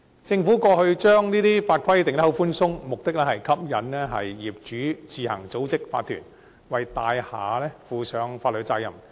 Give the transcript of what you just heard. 政府過去將法規訂得寬鬆，目的是吸引業主自行組織法團，為大廈負上法律責任。